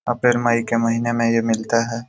अप्रैल-मई के महीने मे ये मिलते है।